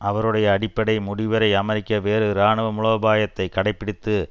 அவருடைய அடிப்படை முடிவுரை அமெரிக்க வேறு இராணுவ மூலோபாயத்தை கடைப்பிடித்து